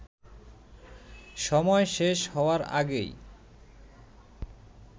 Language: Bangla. সময় শেষ হওয়ার আগেই